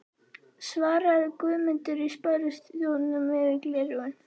svaraði Guðmundur í Sparisjóðnum yfir gleraugun.